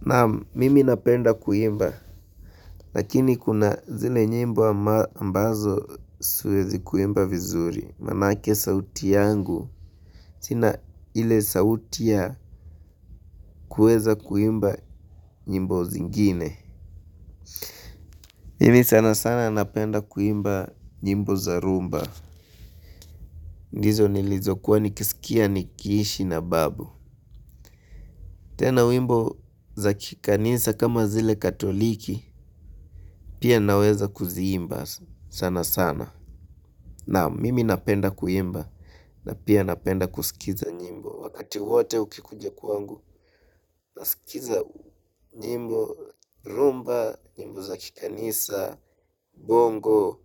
Naam, mimi napenda kuimba, lakini kuna zile nyimbo ambazo siwezi kuimba vizuri, maanake sauti yangu, sina ile sauti ya kuweza kuimba nyimbo zingine. Hivi sanasana napenda kuimba nyimbo za rhumba, ndizo nlizokuwa nikiskia nikiishi na babu. Tena wimbo za kikanisa kama zile katoliki, pia naweza kuziimba sanasana. Naam, mimi napenda kuimba na pia napenda kusikiza nyimbo. Wakati wote ukikuja kwangu, nasikiza nyimbo, rhumba, nyimbo za kikanisa, bongo,